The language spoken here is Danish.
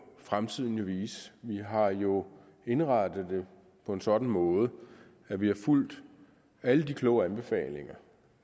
fremtiden vise vi har jo indrettet det på en sådan måde at vi har fulgt alle de kloge anbefalinger